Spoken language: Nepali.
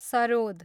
सरोद